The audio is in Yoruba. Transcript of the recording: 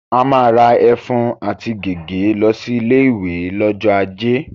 A máa ra ẹ̀fún àti gègé lọ sí ilé-ìwé lọ́jọ́ ajé.